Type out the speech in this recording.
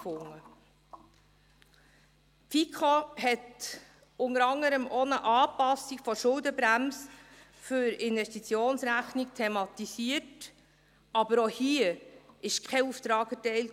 Die FiKo thematisierte unter anderem auch eine Anpassung der Schuldenbremse für die Investitionsrechnung, aber auch hier wurde kein Auftrag erteilt.